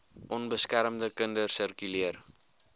onbeskermde kinders sirkuleer